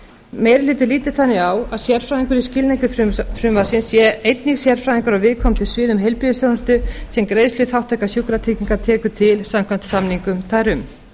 meiri hlutinn lítur þannig á að sérfræðingur í skilningi frumvarpsins sé einnig sérfræðingur á viðkomandi sviðum heilbrigðisþjónustu sem greiðsluþátttaka sjúkratrygginga tekur til samkvæmt samningum þar um